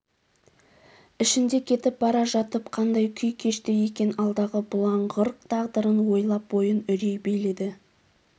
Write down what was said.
ішінде кетіп бара жатып қандай күй кешті екен алдағы бұлыңғыр тағдырын ойлап бойын үрей биледі